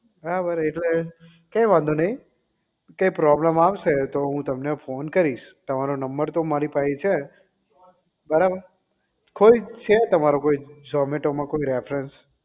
બરાબર એટલે કંઈ વાંધો નહીં કંઈ problem આવશે તો હું તમને phone કરીશ તમારો નંબર તો મારી પાહે છે જ બરાબર કોઈ છે તમારો કોઈ zomato માં કોઈ refrence